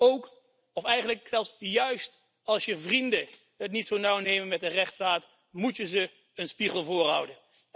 Ook of eigenlijk zelfs juist als je vrienden het niet zo nauw nemen met de rechtsstaat, moet je ze een spiegel voorhouden.